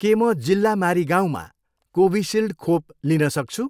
के म जिल्ला मारिगाउँमा कोभिसिल्ड खोप लिन सक्छु?